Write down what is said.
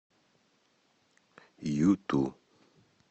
юту